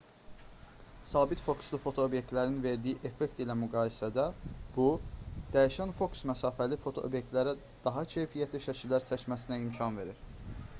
sabit fokuslu fotoobyektivlərin verdiyi effekt ilə müqayisədə bu dəyişən fokus məsafəli fotoobyektivlərə daha keyfiyyətli şəkillər çəkməsinə imkan verir